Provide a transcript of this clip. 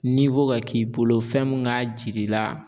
Niwo ka k'i bolo fɛn mun k'a jir'i la